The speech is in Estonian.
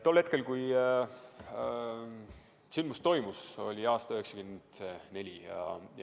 Tol hetkel, kui sündmus toimus, oli aasta 1994.